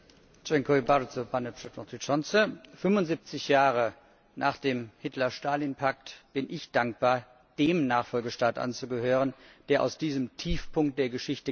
Herr Präsident! 75 Jahre nach dem Hitler Stalin Pakt bin ich dankbar, dem Nachfolgestaat anzugehören, der aus diesem Tiefpunkt der Geschichte gelernt hat.